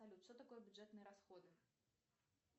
салют что такое бюджетные расходы